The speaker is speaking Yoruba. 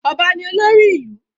Ọba ni olórí ìlú.